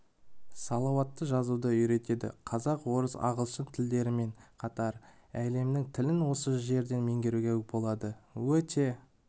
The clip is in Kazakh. сауатты жазуды үйретеді қазақ орыс ағылшын тілдерімен қатар әлемнің тілін осы жерден меңгеруге болады өте